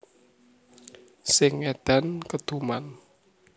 Sing ngedan keduman